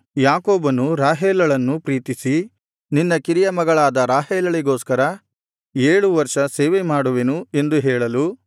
ಯಾಕೋಬನು ರಾಹೇಲಳನ್ನು ಪ್ರೀತಿಸಿ ನಿನ್ನ ಕಿರಿಯ ಮಗಳಾದ ರಾಹೇಲಳಿಗೋಸ್ಕರ ಏಳು ವರ್ಷ ಸೇವೆ ಮಾಡುವೆನು ಎಂದು ಹೇಳಲು